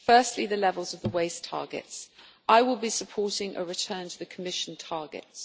Firstly, on the levels of the waste targets, I will be supporting a return to the Commission targets.